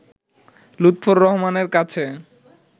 লুৎফর রহমানের কাছে